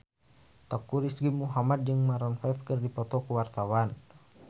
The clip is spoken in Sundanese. Teuku Rizky Muhammad jeung Maroon 5 keur dipoto ku wartawan